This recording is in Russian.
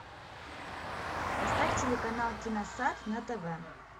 поставь телеканал киносад на тв